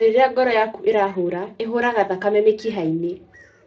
O rĩrĩa ngoro yaku ĩrahũra, ĩhũraga thakame mĩkihainĩ.